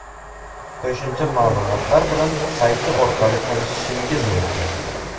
Qo‘shimcha ma’lumotlar bilan sayti orqali tanishishingiz mumkin.